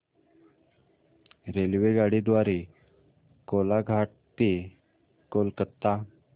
रेल्वेगाडी द्वारे कोलाघाट ते कोलकता